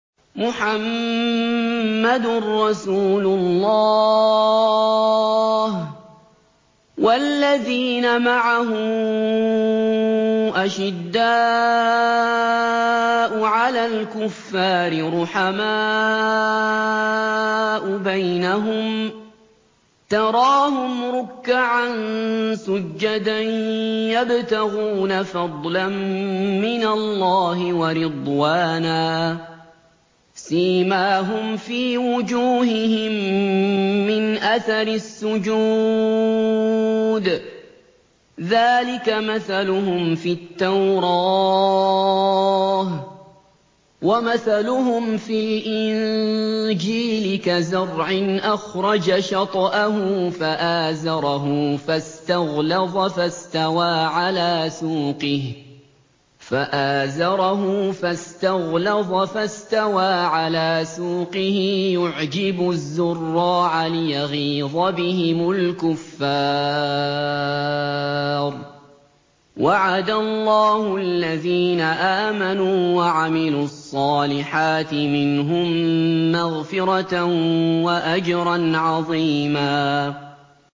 مُّحَمَّدٌ رَّسُولُ اللَّهِ ۚ وَالَّذِينَ مَعَهُ أَشِدَّاءُ عَلَى الْكُفَّارِ رُحَمَاءُ بَيْنَهُمْ ۖ تَرَاهُمْ رُكَّعًا سُجَّدًا يَبْتَغُونَ فَضْلًا مِّنَ اللَّهِ وَرِضْوَانًا ۖ سِيمَاهُمْ فِي وُجُوهِهِم مِّنْ أَثَرِ السُّجُودِ ۚ ذَٰلِكَ مَثَلُهُمْ فِي التَّوْرَاةِ ۚ وَمَثَلُهُمْ فِي الْإِنجِيلِ كَزَرْعٍ أَخْرَجَ شَطْأَهُ فَآزَرَهُ فَاسْتَغْلَظَ فَاسْتَوَىٰ عَلَىٰ سُوقِهِ يُعْجِبُ الزُّرَّاعَ لِيَغِيظَ بِهِمُ الْكُفَّارَ ۗ وَعَدَ اللَّهُ الَّذِينَ آمَنُوا وَعَمِلُوا الصَّالِحَاتِ مِنْهُم مَّغْفِرَةً وَأَجْرًا عَظِيمًا